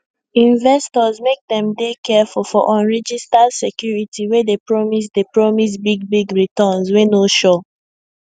investors make dem dey careful for unregistered securities wey dey promise dey promise big big returns wey no sure